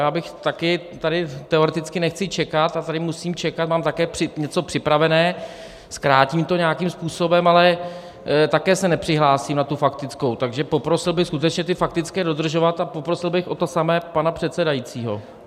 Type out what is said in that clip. Já bych tady... taky teoreticky nechci čekat a tady musím čekat, mám také něco připravené, zkrátím to nějakým způsobem, ale také se nepřihlásím na tu faktickou, takže poprosil bych skutečně ty faktické dodržovat a poprosil bych o to samé pana předsedajícího.